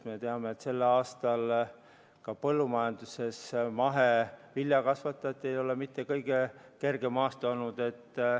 Me teame, et see aasta ei ole ka mahevilja kasvatajatel olnud mitte kõige kergem.